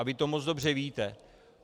A vy to moc dobře víte.